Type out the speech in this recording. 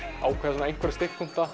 ákveða einhverja